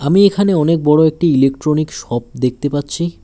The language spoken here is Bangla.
আমি এখানে অনেক বড়ো একটি ইলেকট্রনিক শপ দেখতে পাচ্ছি।